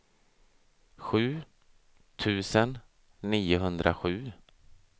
sju tusen niohundrasju